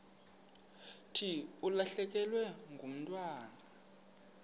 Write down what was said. thi ulahlekelwe ngumntwana